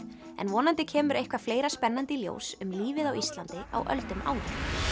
en vonandi kemur eitthvað fleira spennandi í ljós um lífið á Íslandi á öldum áður